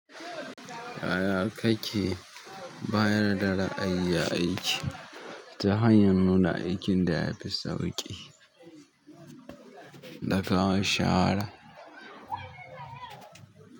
Yaya kake bayar da ra'ayi a aiki? Ta hanyar nuna aikin da ya fi sauƙi da kawo shawara.